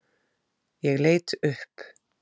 Ég leit upp.